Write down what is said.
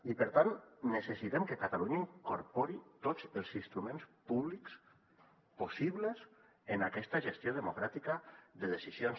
i per tant necessitem que catalunya incorpori tots els instruments públics possibles en aquesta gestió democràtica de decisions